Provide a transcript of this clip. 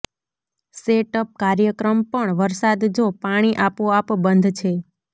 setup કાર્યક્રમ પણ વરસાદ જો પાણી આપોઆપ બંધ છે